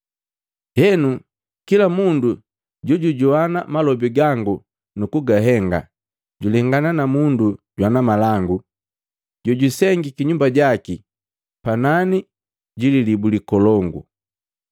“Henu, kila mundu jojujoana malobi gangu nu kugahenga, julengana na mundu jwana malangu, jojusengiki nyumba jaki panani ji lilibu likolongu.